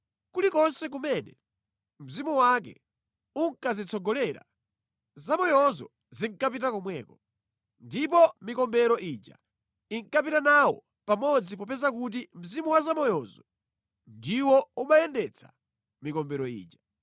Kulikonse kumene mzimu wake unkazitsogolera, zamoyozo zinkapita komweko. Ndipo mikombero ija inkapita nawo pamodzi popeza kuti mzimu wa zamoyozo ndiwo umayendetsa mikombero ija.